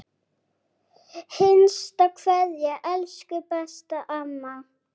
HINSTA KVEÐJA Elsku besta amma.